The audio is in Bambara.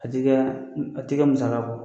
A ti kɛ a ti kɛ musaka kɔ.